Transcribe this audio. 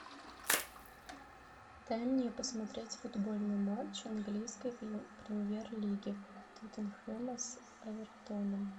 дай мне посмотреть футбольный матч английской премьер лиги тоттенхэма с эвертоном